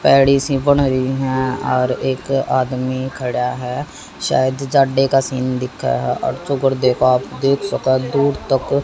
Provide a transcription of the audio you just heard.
और एक आदमी खड़ा है --